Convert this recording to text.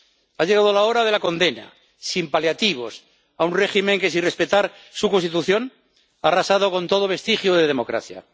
Ha llegado la hora de la condena, sin paliativos, a un régimen que, sin respetar su Constitución, ha arrasado con todo vestigio de democracia.